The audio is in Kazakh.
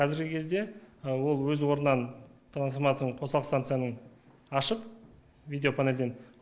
қазіргі кезде ол өз орнынан трансформаторын қосалқы станцияның ашып видеопанельден